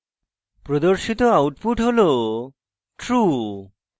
প্রদর্শিত output হল true